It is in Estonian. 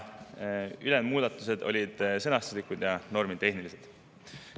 Ülejäänud muudatused olid sõnastuslikud ja normitehnilised.